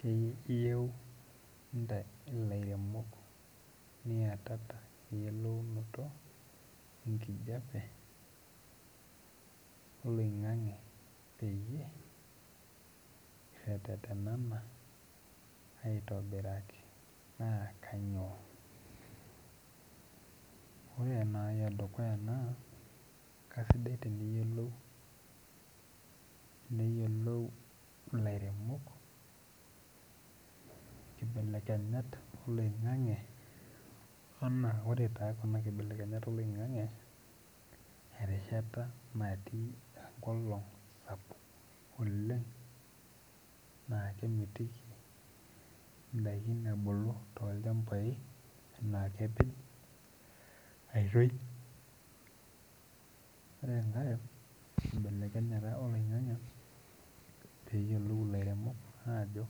Keyieu ntae ilaremok niatata engeno enkijape oloingangi peyie iretetena aitobiraki ore nai edukuya na kesidai eneyiolou lairemok nkibelekenyat oloingangi ana ore kuna kibelekenyat oloingange erishata natii enkolong sapuk oleng na kemitiki ndakini ebulu na kepej, aitoi ore enka kibelekenyata oloingangi peyiolou laremok ajo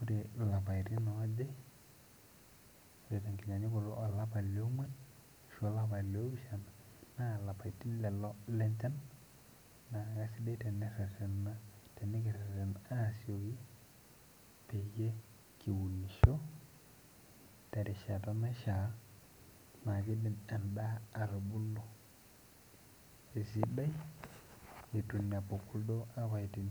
ore lapaitin aaaje olapa leonguan ashu olapa le opishana na lapatin loli lencha na kesidia tenikirerena peyie kiunisho terishata naishaa na kidim endaa atubulu esidai itu inepu kuldo apaitin.